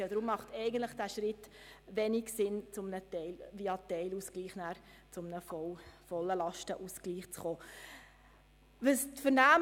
Deshalb macht ein Schritt via Teilausgleich hin zu einem vollen Lastenausgleich wenig Sinn.